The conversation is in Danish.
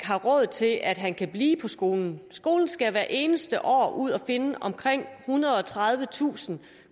har råd til at han kan blive på skolen skolen skal hvert eneste år ud at finde omkring ethundrede og tredivetusind